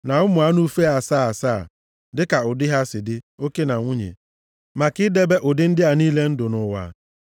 na ụmụ anụ ufe asaa asaa, dịka ụdị ha si dị, oke na nwunye, maka idebe ụdị ndị a niile ndụ nʼụwa.